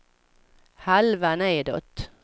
halva nedåt